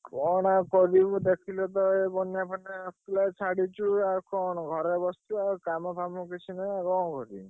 କଣ ଆଉ କରିବୁ ଦେଖିଲତ ଏ ବନ୍ୟା ଫନ୍ୟା ଆସୁଥିଲା ଛାଡିଛୁ ଆଉ କଣ ଘରେ ବସିଛୁ ଆଉ କାମ ଫାମ କିଛି ନାଇ ଆଉ କଣ କରିବୁ?